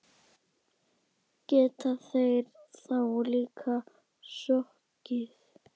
Geta þeir þá líka sokkið.